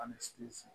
Ani siri si